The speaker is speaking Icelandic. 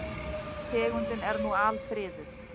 Tegundin er nú alfriðuð.